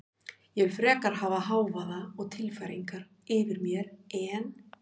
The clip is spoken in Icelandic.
En ég vil frekar hafa hávaða og tilfæringar yfir mér en